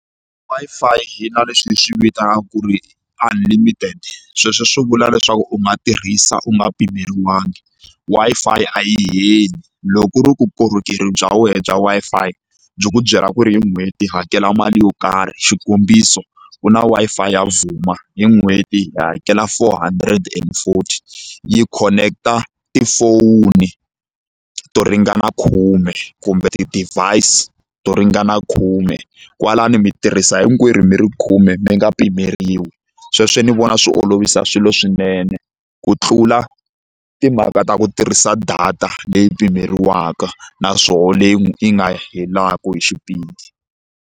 Wi-Fi hina leswi hi swi vitanaka ku ri unlimited sweswo swi vula leswaku u nga tirhisa u nga pimeriwangi Wi-Fi a yi heli loko ku ri ku korhokera bya wena bya Wi-Fi byi ku byela ku ri hi n'hweti hakela mali yo karhi xikombiso ku na Wi-Fi ya Vhuma hi n'hweti hakela four hundred and forty yi khoneketa tifoni to ringana khume kumbe ti-device to ringana khume kwalano mi tirhisa hinkwerhu mi ri khume mi nga pimeriwi sweswo ni vona swi olovisa swilo swinene ku tlula timhaka ta ku tirhisa data leyi pimeriwaka naswona leyi yi nga helaka hi xipidi.